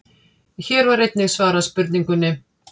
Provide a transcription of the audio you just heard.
Hér var einnig svarað spurningunni: